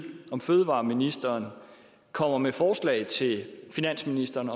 om fødevareministeren kommer med forslag til finansministeren